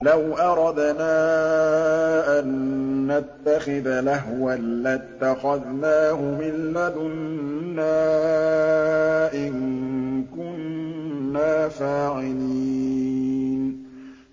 لَوْ أَرَدْنَا أَن نَّتَّخِذَ لَهْوًا لَّاتَّخَذْنَاهُ مِن لَّدُنَّا إِن كُنَّا فَاعِلِينَ